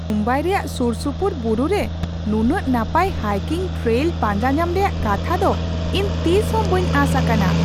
ᱢᱩᱢᱵᱟᱭ ᱨᱮᱭᱟᱜ ᱥᱩᱨᱼᱥᱩᱯᱩᱨ ᱵᱩᱨᱩᱨᱮ ᱱᱩᱱᱟᱹᱜ ᱱᱟᱯᱟᱭ ᱦᱟᱭᱠᱤᱝ ᱴᱨᱮᱭᱞ ᱯᱟᱸᱡᱟᱧᱟᱢ ᱨᱮᱭᱟᱜ ᱠᱟᱛᱷᱟ ᱫᱚ ᱤᱧ ᱛᱤᱥᱦᱚᱸ ᱵᱟᱹᱧ ᱟᱸᱥ ᱟᱠᱟᱱᱟ ᱾